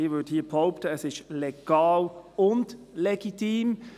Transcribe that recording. Ich würde hier behaupten, es ist legal legitim.